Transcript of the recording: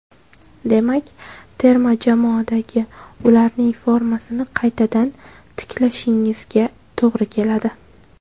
Demak, terma jamoadagi ularning formasini qaytadan tiklashingizga to‘g‘ri keladi.